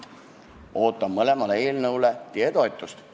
Ootan mõlemale eelnõule teie toetust.